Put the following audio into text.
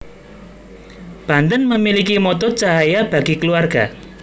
Banten memiliki motto Cahaya Bagi Keluarga